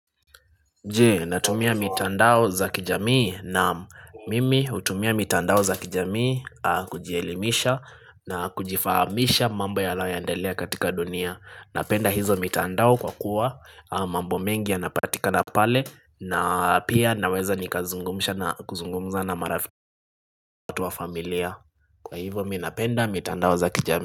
Je natumia mitandao za kijamii nam mimi hutumia mitandao za kijamii kujielimisha na kujifahamisha mambo yalaoendelea katika dunia Napenda hizo mitandao kwa kuwa mambo mengi ya napatika na pale na pia naweza nikazungumsha na kuzungumza na marafikatu wa familia Kwa hivo minapenda mitandao za kijam.